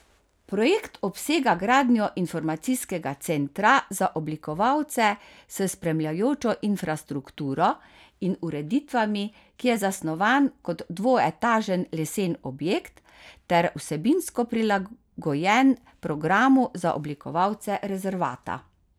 Projekt obsega gradnjo informacijskega centra za obiskovalce s spremljajočo infrastrukturo in ureditvami, ki je zasnovan kot dvoetažen lesen objekt ter vsebinsko prilagojen programu za obiskovalce rezervata.